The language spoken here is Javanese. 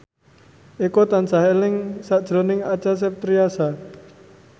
Eko tansah eling sakjroning Acha Septriasa